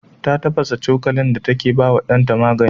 Ta tafasa cokalin da take ba wa ɗanta magani.